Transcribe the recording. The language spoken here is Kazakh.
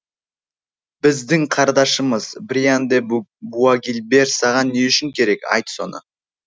біздің қардашымыз бриан де буагильбер саған не үшін керек айт соны